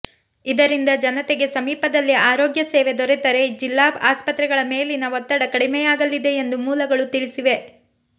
ಇದರಿಂದ ಜನತೆಗೆ ಸಮೀಪದಲ್ಲಿ ಆರೋಗ್ಯ ಸೇವೆ ದೊರೆತರೆ ಜಿಲ್ಲಾ ಅಸ್ಪತ್ರೆಗಳ ಮೇಲಿನ ಒತ್ತಡ ಕಡಿಮೆಯಾಗಲಿದೆ ಎಂದು ಮೂಲಗಳು ತಿಳಿಸಿವೆ